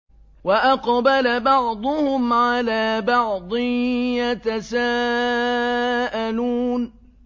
وَأَقْبَلَ بَعْضُهُمْ عَلَىٰ بَعْضٍ يَتَسَاءَلُونَ